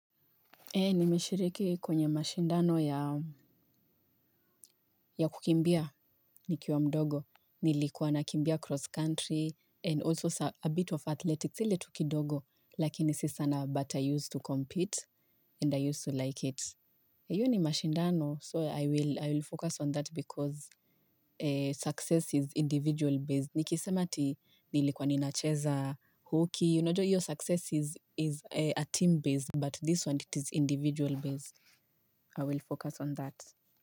Nimeshiriki kwenye mashindano ya kukimbia nikiwa mdogo. Nilikuwa nakimbia cross country and also a bit of athletics. Sile tu kidogo lakini si sana but I used to compete and I used to like it. Iyo ni mashindano so I will focus on that because success is individual based. Nikisema ati nilikwa ninacheza hockey. You unajua iyo success is a team based but this one it is individual based. I will focus on that.